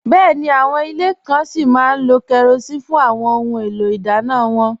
Bẹ́ẹ̀ni, àwọn ilẹ̀ kàn sí má lò kérosín fún àwọn ọ̀hun èlò idànna wọn